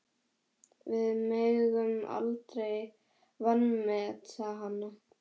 Við megum aldrei vanmeta hana.